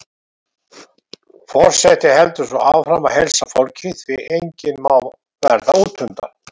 Forseti heldur svo áfram að heilsa fólki, því enginn má verða útundan.